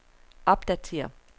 opdatér